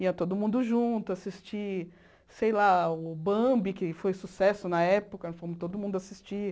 Ia todo mundo junto assistir, sei lá, o Bambi, que foi sucesso na época, fomos todo mundo assistir.